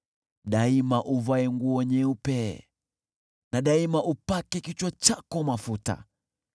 Daima uvae nguo nyeupe na daima upake kichwa chako mafuta.